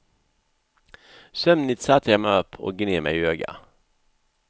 Sömnigt satte jag mig upp och gned mig i ögonen.